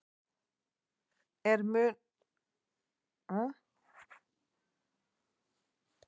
Ég fann til innilokunarkenndar og tilgangsleysis í síendurteknum handahreyfingum daginn út og inn.